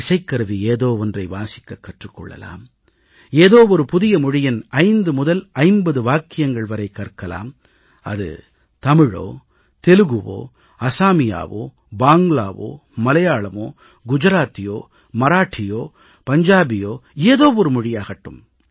இசைக்கருவி ஏதோ ஒன்றை வாசிக்கக் கற்றுக் கொள்ளலாம் ஏதோ ஒரு புதிய மொழியின் 5 முதல் 50 வாக்கியங்கள் வரை கற்கலாம் அது தமிழோ தெலுங்கோ அசாமியாவோ வங்காளமோ மலையாளமோ குஜராத்தியோ மராட்டியோ பஞ்சாபியோ ஏதோ ஒரு மொழியாகட்டும்